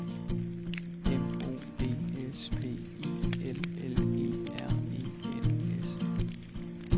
M O D S P I L L E R E N S